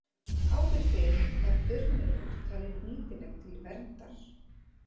Áður fyrr var burnirót talin nýtileg til verndar.